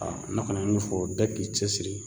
ne kɔni ye min fɔ bɛɛ k'i cɛ siri